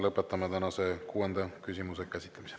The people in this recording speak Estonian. Lõpetame tänase kuuenda küsimuse käsitlemise.